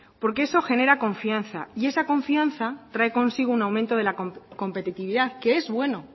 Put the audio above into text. porque eso genera confianza y esa confianza trae consigo un aumento de la competitividad que es bueno